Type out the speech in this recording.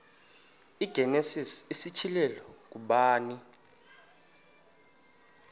igenesis isityhilelo ngubani